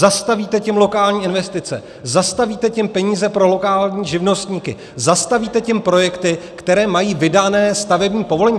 Zastavíte tím lokální investice, zastavíte tím peníze pro lokální živnostníky, zastavíte tím projekty, které mají vydané stavební povolení.